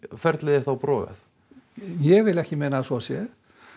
ferlið er þá brotið ég vil ekki meina að svo sé